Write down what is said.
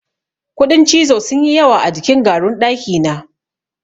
Kuɗin cizo sun yi yawa a jikin garun ɗakina.